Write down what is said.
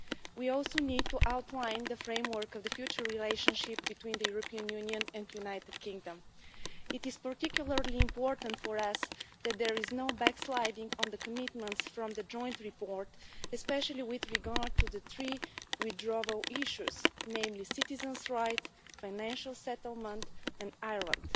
We also need to outline the framework for the future relationship between the European Union and the United Kingdom. It is particularly important for us that there is no backsliding on the commitments from the Joint Report, especially with regard to the three key withdrawal issues, namely citizens' rights, financial settlement and Ireland.